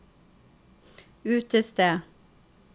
utested